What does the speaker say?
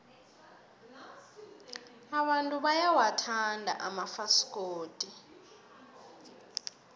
abantu bayawathanda amafasikodi